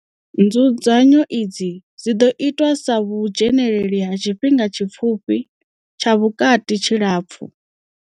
Nzudzanyo idzi dzi ḓo itwa sa vhudzheneleli ha tshifhinga tshi pfufhi, tsha vhukati tshilapfu.